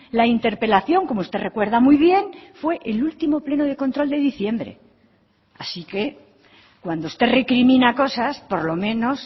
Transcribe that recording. la interpelación como usted recuerda muy bien fue el último pleno de control de diciembre así que cuando usted recrimina cosas por lo menos